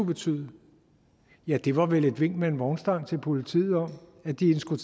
betyde ja det var vel et vink med en vognstang til politiet om at de skulle